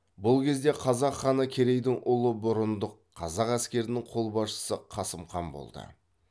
бұл кезде қазақ ханы керейдің ұлы бұрындық қазақ әскерінің қолбасшысы қасым хан болды